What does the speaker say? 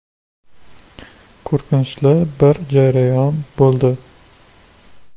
Qo‘rqinchli bir jarayon bo‘ldi.